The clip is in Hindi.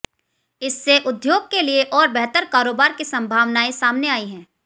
इससे उद्योग के लिए और बेहतर कारोबार की संभावनाएं सामने आई हैं